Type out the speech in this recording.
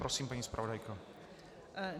Prosím, paní zpravodajko.